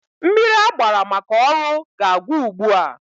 Mmiri agbara maka ọrụ ga-agwụ ugbua.